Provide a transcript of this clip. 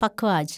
പഖ്വാജ്